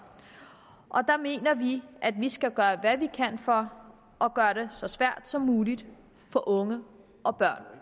der mener vi at vi skal gøre hvad vi kan for at gøre det så svært som muligt for unge og børn